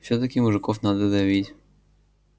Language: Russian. всё-таки мужиков надо давить